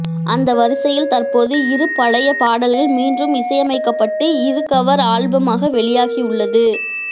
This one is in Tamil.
அந்த வரிசையில் தற்போது இரு பழைய பாடல்கள் மீண்டும் இசையமைக்கப்பட்டு இரு கவர் ஆல்பமாக வெளியாகியுள்ளது